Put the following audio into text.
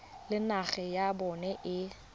le naga ya bona e